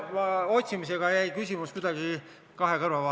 ... ja otsimisega jäi küsimus kuidagi kahe kõrva vahele.